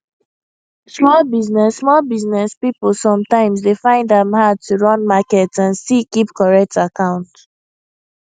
small business small business people sometimes dey find am hard to run market and still keep correct account